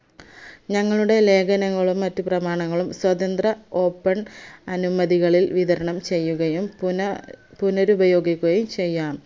ഞങ്ങളുടെ ലേഖനങ്ങളും മറ്റുപ്രമാണങ്ങളും സ്വതന്ത്ര open അനുമതികളിൽ വിതരണം ചെയ്യുകയും പുന പുനരുപയോഗിക്കുകയും ചെയ്യാം